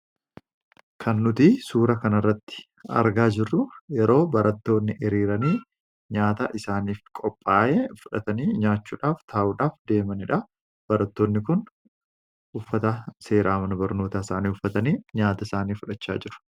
kan nuti suura kanarratti argaa jirru yeroo barattoonni hiriiranii nyaata isaaniif qophaa'ee fudhatanii nyaachuudhaaf taa'uudhaaf deemaniidha. Barattoonni kun uffata seeraa mana barnootaa isaanii uffatanii nyaata isaanii fudhachaa jiru.